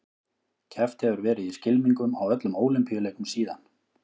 Keppt hefur verið í skylmingum á öllum Ólympíuleikum síðan.